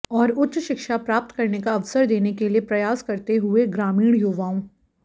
और उच्च शिक्षा प्राप्त करने का अवसर देने के लिए प्रयास करते हुए ग्रामीण युवाओं